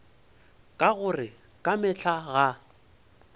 ka gore ka mehla ga